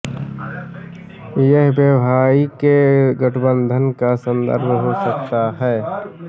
यह वैवाहिक गठबंधन का संदर्भ हो सकता है